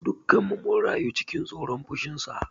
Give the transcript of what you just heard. Dukanmu mun rayu cikin tsoron fushinsa.